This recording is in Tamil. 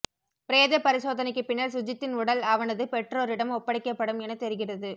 பிரேத பரிசோதனைக்கு பின்னர் சுஜித்தின் உடல் அவனது பெற்றோரிடம் ஒப்படைக்கப் படும் என தெரிகிறது